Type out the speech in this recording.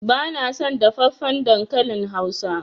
Bana son dafaffen dankalin hausa.